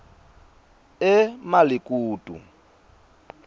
emalikutu